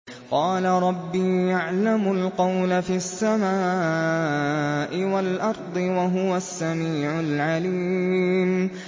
قَالَ رَبِّي يَعْلَمُ الْقَوْلَ فِي السَّمَاءِ وَالْأَرْضِ ۖ وَهُوَ السَّمِيعُ الْعَلِيمُ